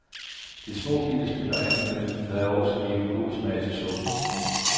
De små bitte stykker andekød havde også givet god smag til suppen.